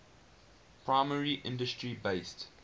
primary industry based